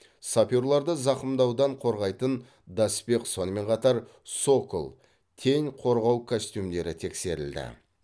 саперлерді зақымдаудан қорғайтын доспех сонымен қатар сокол тень қорғау костюмдері тексерілді